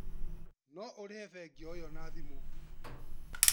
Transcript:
No ũrihe bengi o iyo na thimũ